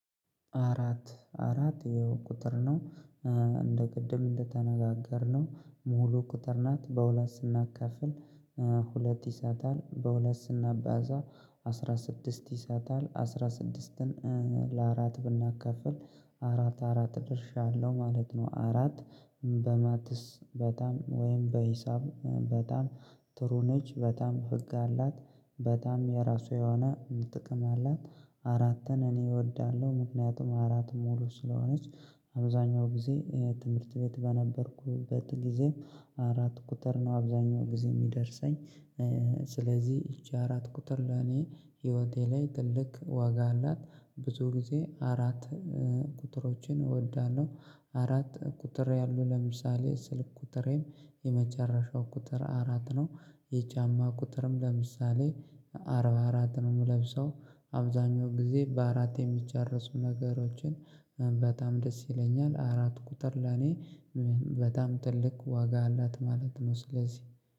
አራት አራት ይሄው ቁጥር ነው። እንደ ቅድም እንደተነጋገርነው ሙሉ ቁጥር ናት በሁለት ስናካፍል። ሁለት ይሰጣል በሁለት ስናባዛ አስራ ስድስት ይሰጣል አስራ ስድስትን። ለአራት ብናካፍል አራት አራት ድርሻ አለው ማለት ነው። አራት በማትስ በጣም ወይም በሂሳብ በጣም ጥሩ ነች በጣም ህግ አላት በጣም የራሱ የሆነ ጥቅም አላት። አራትን እኔ እወዳለሁ ምክንያቱም አራት ሙሉ ስለሆነች አብዛኛው ጊዜ ትምህርት ቤት በነበርኩበት ጊዜም አራት ቁጥር ነው አብዛኛው ጊዜ የሚደርሰኝ። ስለዚህ ይቺ አራት ቁጥር ለኔ ህይወቴ ላይ ትልቅ ዋጋ አላት። ብዙ ጊዜ አራት ቁጥሮችን እወዳለሁ። አራት ቁጥር ያሉ ለምሳሌ ስልክ ቁጥሬም የመጨረሻው ቁጥር አራት ነው። የጫማ ቁጥርም ለምሳሌ አርባ አራት ነው የምለብሰው። አብዛኛው ጊዜ በአራት የሚጨርሱ ነገሮችን በጣም ደስ ይለኛል አራት ቁጥር ለኔ በጣም ትልቅ ዋጋ አላት ማለት ነው። ስለዚህ